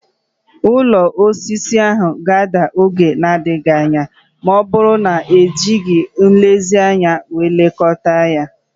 Ụlọ osisi a ga-ada n'oge na-adịghị anya ma ọ bụrụ na ejighị nlezianya lekọta ya